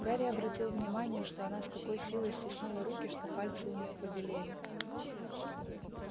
гарри обратил внимание что она с такой силой стиснула руки что пальцы у неё побелели